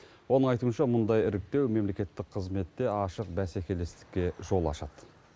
оның айтуынша мұндай іріктеу мемлекеттік қызметте ашық бәсекелестікке жол ашады